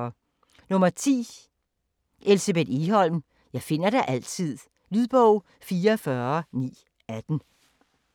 10. Egholm, Elsebeth: Jeg finder dig altid Lydbog 44918